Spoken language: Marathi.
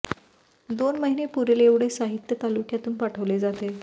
दोन महिने पुरेल एवढे साहित्य तालुक्यातून पाठवले जाते